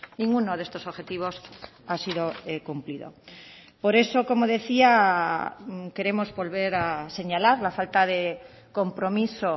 ninguno de estos objetivos ha sido cumplido por eso como decía queremos volver a señalar la falta de compromiso